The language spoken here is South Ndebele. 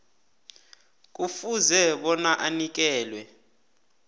kufuze bona anikelwe